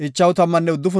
Gaadape 45,650